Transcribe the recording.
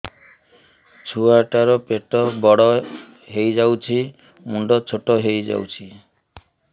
ଛୁଆ ଟା ର ପେଟ ବଡ ହେଇଯାଉଛି ମୁଣ୍ଡ ଛୋଟ ହେଇଯାଉଛି